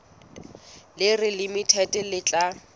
le reng limited le tla